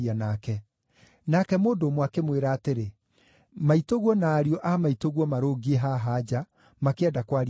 Nake mũndũ ũmwe akĩmwĩra atĩrĩ, “Maitũguo na ariũ a maitũguo marũngiĩ haha nja, makĩenda kwaria nawe.”